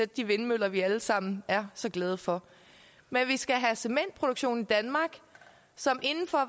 de vindmøller vi alle sammen er så glade for men vi skal have en cementproduktion i danmark som inden for